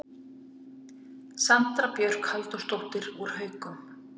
Sandra Björk Halldórsdóttir úr Haukum